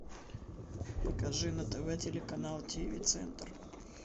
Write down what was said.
покажи на тв телеканал тв центр